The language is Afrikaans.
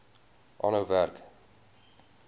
aanhou werk